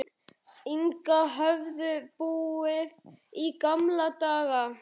Inga höfðu búið í gamla daga.